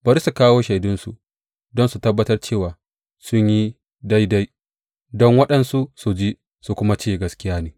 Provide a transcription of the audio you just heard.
Bari su kawo shaidunsu don su tabbatar cewa sun yi daidai, don waɗansu su ji su kuma ce, Gaskiya ne.